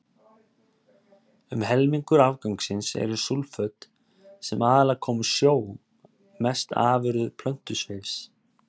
Um helmingur afgangsins eru súlföt, sem aðallega koma úr sjó, mest afurðir plöntusvifs.